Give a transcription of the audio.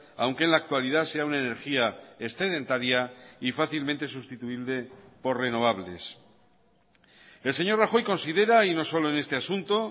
aunque en la actualidad sea una energía excedentaria y fácilmente sustituible por renovables el señor rajoy considera y no solo en este asunto